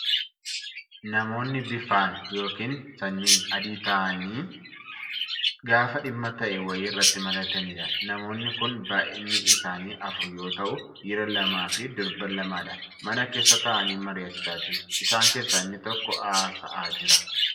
Namoonni bifaan yookiin sanyiin adii ta'an taa'anii gaafa dhimma ta'e wayii irratti mari'atanidha. Namoonni kun baay'inni isaanii afur yoo ta'u, dhiira lamaaf durba lamadha. Mana keessa taa'anii mariyachaa jiru. Isaan keessaa inni tokko haasa'aa jira.